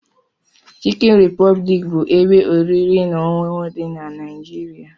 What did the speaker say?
Chikin Republic bu ebe oriri na ọṅụṅụ di nq Naijiria.